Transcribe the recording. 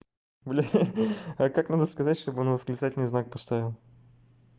блядь а как надо сказать что бы он восклицательный знак поставил